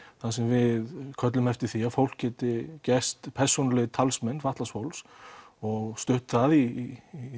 þar sem við köllum eftir því að fólk geti gerst persónulegir talsmenn fatlaðs fólks og stutt það í